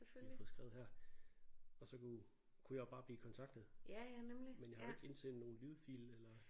Vi har fået skrevet her og så kunne kunne jeg jo bare blive kontaktet. Men jeg har jo ikke indsendt nogen lydfil eller